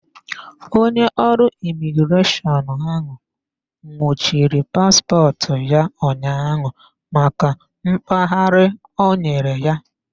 Onye ọrụ imigreshọnụ ahụ nwụchiri paspọtụ ya ụnyaahụ maka mkpaghari ọ nyere ya.